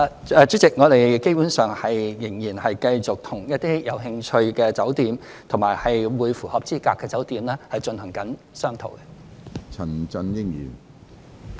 主席，我們基本上仍然繼續與一些有興趣及符合資格的酒店進行商討。